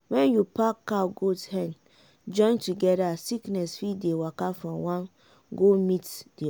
when you pack cow goat hen join together sickness fit dey waka from one go meet the other